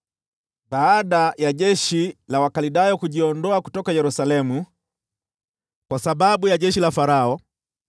Baada ya jeshi la Wakaldayo kujiondoa kutoka Yerusalemu kwa sababu ya jeshi la Farao,